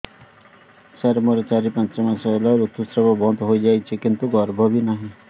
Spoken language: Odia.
ସାର ମୋର ଚାରି ପାଞ୍ଚ ମାସ ହେଲା ଋତୁସ୍ରାବ ବନ୍ଦ ହେଇଯାଇଛି କିନ୍ତୁ ଗର୍ଭ ବି ନାହିଁ